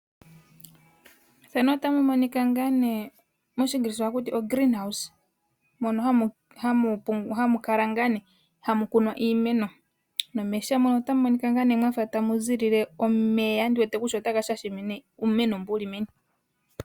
Methano otamu monika ngaa nee moshingilisa ohaku tio(Green House) mono hamu pu hamu kala ngaa nee hamu kunwa iimeno. Nomeesha otamu ulike mwafa tamuzi omeya ndiwete kutya otaga shasha uumeno mbu wuli meni.